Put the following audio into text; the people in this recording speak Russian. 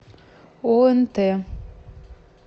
онт